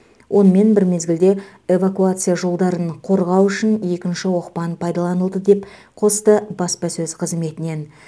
онымен бір мезгілде эвакуация жолдарын қорғау үшін екінші оқпан пайдаланылды деп қосты баспасөз қызметінен